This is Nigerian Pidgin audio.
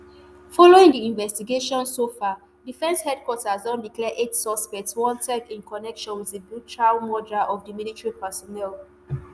following di investigations so far defence headquarters don declare eight suspects wanted in connection wit di brutal murder of di military personnel